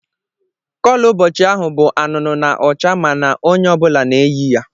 Kọlọ ụbọchị ahụ bụ anụnụ na ọcha ma na onye ọ bụla na-eyi ya.